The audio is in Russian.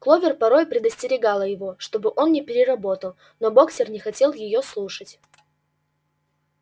кловер порой предостерегала его чтобы он не переработал но боксёр не хотел её слушать